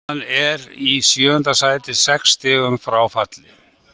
Stjarnan er í sjöunda sæti, sex stigum frá falli.